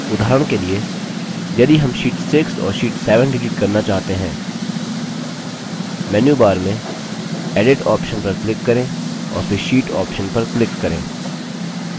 उदाहरण के लिए यदि हम sheet 6 और sheet 7 डिलीट करना चाहते हैं मेन्यूबार में edit option पर click करें और फिर sheet option पर click करें